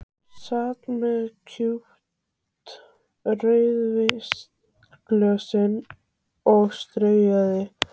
Sat með kúpt rauðvínsglösin og strauk þeim.